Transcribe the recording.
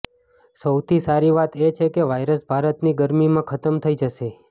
સૌથી સારી વાત એ છે કે વાયરસ ભારતની ગર્મીમાં ખતમ થઈ જશે